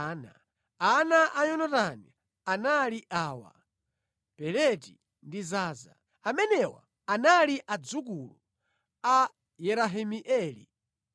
Ana a Yonatani anali awa: Peleti ndi Zaza. Amenewa anali adzukulu a Yerahimeeli.